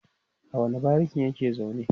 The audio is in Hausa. a wani barikin yake zaune?